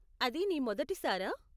అది నీ మొదటిసారా ?